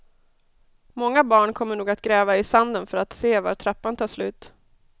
Många barn kommer nog att gräva i sanden för att se var trappan tar slut.